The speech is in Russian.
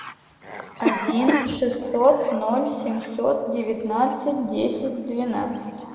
один шестьсот ноль семьсот девятнадцать десять двенадцать